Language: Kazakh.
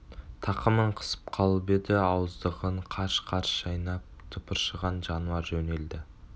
тақымын қысып қалып еді ауыздығын қарш-қарш шайнап тыпыршыған жануар жөнелді